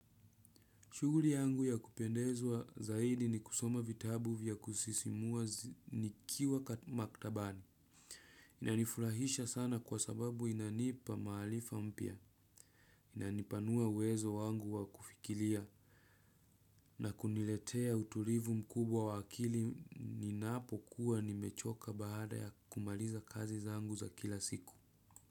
Shuguli yangu ya kupendezwa zaidi ni kusoma vitabu vya kusisimua nikiwa maktabani. Inanifurahisha sana kwa sababu inanipa maharifa mpya. Inanipanua wezo wangu wakufikiria. Na kuniletea utulivu mkubwa wa akili ninapo kuwa nimechoka baada ya kumaliza kazi zangu za kila siku.